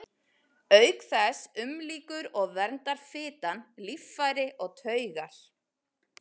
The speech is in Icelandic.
Auk þess umlykur og verndar fitan líffæri og taugar.